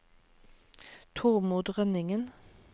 Tormod Rønningen